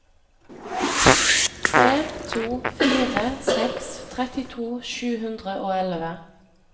tre to fire seks trettito sju hundre og elleve